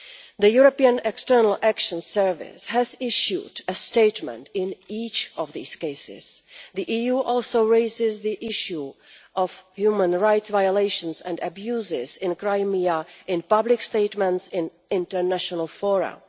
The European External Action Service has issued a statement in each of these cases. The EU also raises the issue of human rights violations and abuses in Crimea in public statements in international forums.